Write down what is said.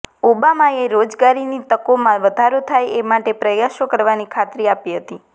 ઓબામાએ રોજગારીની તકોમાં વધારો થાય એ માટે પ્રયાસો કરવાની ખાતરી આપી હતી